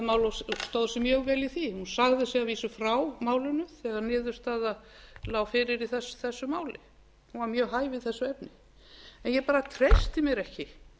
og stóð sig mjög vel í því hún sagði sig að vísu frá málinu þegar niðurstaða lá fyrir í þessu máli hún var mjög hæf í þessu efni en ég bara treysti mér ekki